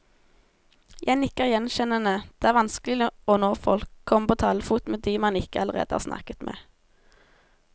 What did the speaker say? Jeg nikker gjenkjennende, det er vanskelig å nå folk, komme på talefot med de man ikke allerede har snakket med.